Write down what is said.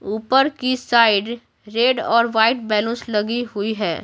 ऊपर की side red और वाइट बैलुनस लगी हुई है।